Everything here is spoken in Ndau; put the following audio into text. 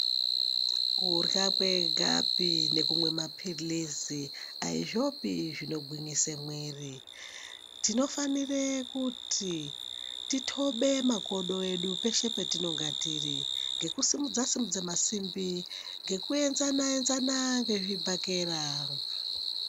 Kurya kwegapi nekumwe maphirizi aizvopi zvinogwwinyise mwiri. Tinofanire kuti titobe makodo edu peshe patinenge tiri ngekusimudza-simudza masimbi, ngekuenzana-enzana ngezvibhakera.